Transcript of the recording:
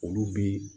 Olu bi